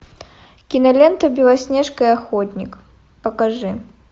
кинолента белоснежка и охотник покажи